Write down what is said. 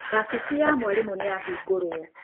Wabici ya mwarimũ nĩyahingũrwo.